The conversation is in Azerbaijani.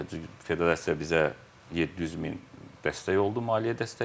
Federasiya bizə 700 min dəstək oldu, maliyyə dəstəyi.